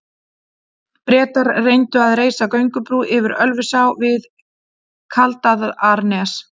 Bretar reyndu að reisa göngubrú yfir Ölfusá við Kaldaðarnes.